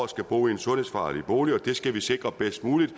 skal bo i en sundhedsfarlig bolig det skal vi sikre bedst muligt